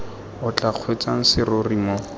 o tla kgweetsang serori mo